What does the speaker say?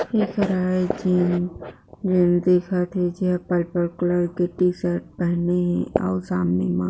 ऐकरा एक चीज में दिखत थे पर्पल कलर का टी-शर्ट पहने हे अउ सामने मा